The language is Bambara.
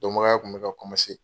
Dɔnbagaya tun bɛ ka .